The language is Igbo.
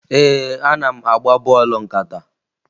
Ee, ana m agba bọọlụ nkata